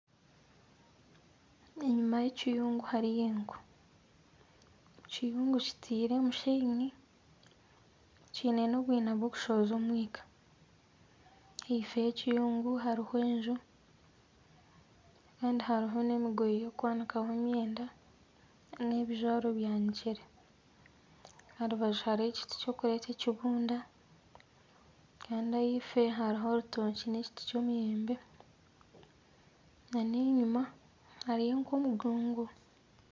Enyima y'ekiyungu hariyo enku, ekiyungu kiteire omusheenyi. Kiine n'obwina bukushohoza omwika. Ifo y'ekiyungu hariho enju kandi hariho n'emigoye y'okwanikaho emyenda kandi ebijwaro byanikire. Aha rubaju hariho ekiti ky'okureeta ekibunda. Kandi ahaifo hariho orutookye n'ekiti ky'omuyembe n'enyima hariyo nk'omugongo.